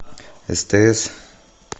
стс